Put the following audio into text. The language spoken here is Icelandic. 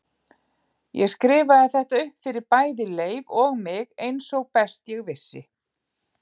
Ég skrifaði þetta upp fyrir bæði Leif og mig eins og best ég vissi.